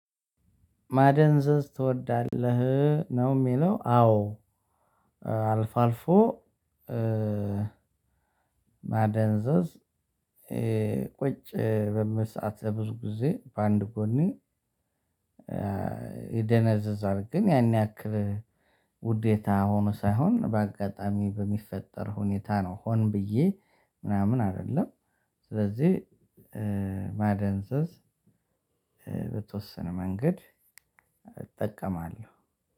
ማደንዘዝ ትወዳለህ ነው የሚለው? አዎ አልፎ አልፎ ማደንዘዝ ቁጭ በምል ሰዓት ለብዙ ጊዜ በአንድ ጎኔ። ይደነዘዝል ግን ያን ያክል ውዴታ ሆኖ ሳይሆን በአጋጣሚ በሚፈጠር ሁኔታ ነው ሆን ብዬ ምናምን አይደለም። ስለዚህ ማደንዘዝ ብተወስነ መንገድ እጠቀማለሁ።